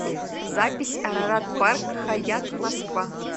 запись арарат парк хаятт москва